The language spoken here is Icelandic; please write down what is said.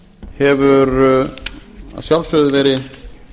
hefur að sjálfsögðu verið